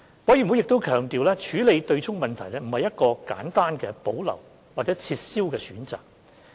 委員會亦強調，處理對沖問題並不是一個簡單地"保留"或"撤銷"的選擇。